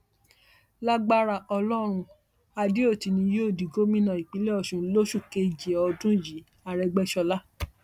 lagbára ọlọrun adeoti ni yóò di gómìnà ìpínlẹ ọṣun lóṣù keje ọdún yìí àrègbéṣọlá